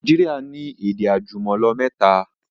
Naijiria ni èdè àjùmọ̀lò mẹ́ta